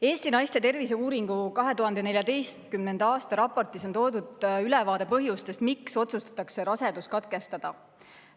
Eesti naiste terviseuuringu 2014. aasta raportis on toodud ülevaade põhjustest, miks otsustatakse rasedus katkestada.